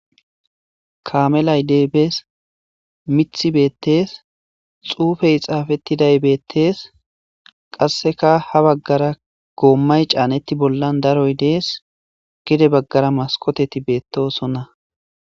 Kaamelay deybees mithi beettees xuufey xaafettiday beettees qasseka ha baggara goommay caanetti bollan daroy dees gede baggara maskoteti beettosonna.